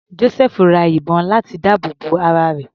Josẹfu ra ìbọn láti dáàbò bo ara rẹ̀.